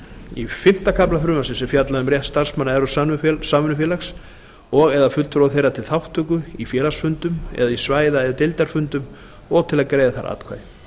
í fimmta kafla er fjallað um rétt starfsmanna evrópsks samvinnufélags og eða fulltrúa þeirra til þátttöku í félagsfundum eða í svæða eða deildarfundum og til að greiða þar atkvæði